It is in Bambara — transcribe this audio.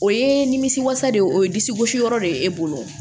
O ye nimisi wasa de ye o ye disi gosi yɔrɔ de ye e bolo